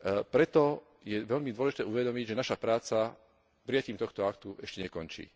Preto je veľmi dôležité si uvedomiť, že naša práca prijatím tohto aktu ešte nekončí.